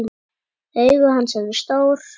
Augu hans eru stór.